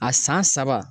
A san saba